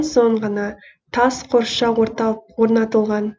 соң ғана тас қоршау орнатылған